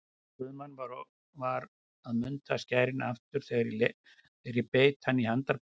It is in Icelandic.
Guðmann var að munda skærin aftur þegar ég beit hann í handarbakið.